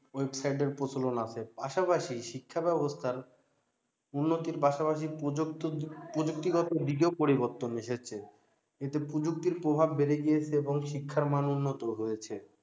website এর প্রচলন আছে পাশাপাশি শিক্ষা ব্যাবস্থার উন্নতির পাশাপাশি প্রযুক্তিগত দিকেও পরিবর্তন এসেছে এতে প্রযুক্তির প্রভাব বেড়ে গিয়েছে এবং শিক্ষার মান উন্নত হয়েছে